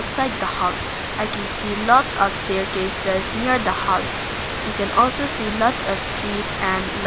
beside the house i can see lots of staircases near the house we can also lots of trees and li--